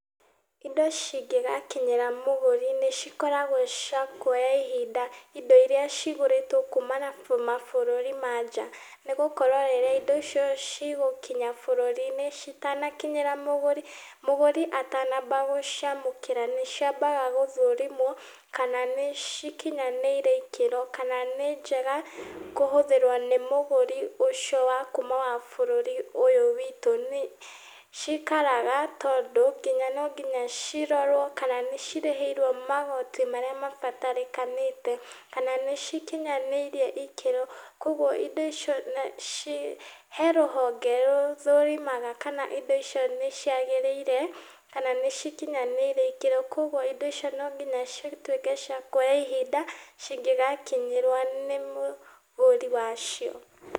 Indo cingĩgakinyĩra mũgũri nĩcikoragwo cia kuoya ihinda, indo iria cigũrĩtwo kumana mabũrũri ma nanjaa, nĩgũkorwo rĩrĩ, indo icio cigũkinya bũrũri-ini citanakinyĩra mũgũri, mũgũri atanamba gũciamũkĩra nĩciambaga gũthũrimwo kana nĩcikinyanĩire ikĩro, kana nĩ njega kũhũthĩrwo nĩ mũgũri ũcio wakuma bũrũri ũyũ witũ nĩ, cikaraga tondũ nginya no nginya cirorwo kana nĩcirĩhĩirwo magoti marĩa mabatarĩkanĩte, kana nĩcikinyanĩirie ikĩro, koguo indio icio, naci he rũhonge rũthorimaga kana indo icio nĩciagĩrĩire kana nĩcikinyanĩire ikĩro, koguo indo icio nonginya cituĩke cia kuoya ihinda cingĩgakinyirwo nĩ mũgũri wacio.